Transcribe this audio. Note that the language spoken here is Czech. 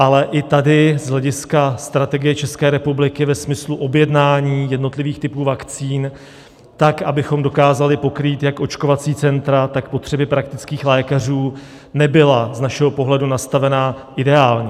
Ale i tady z hlediska strategie České republiky ve smyslu objednání jednotlivých typů vakcín tak, abychom dokázali pokrýt jak očkovací centra, tak potřeby praktických lékařů, nebyla z našeho pohledu nastavená ideálně.